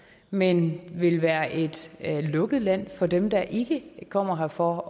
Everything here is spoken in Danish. men vil være et lukket land for dem der ikke kommer her for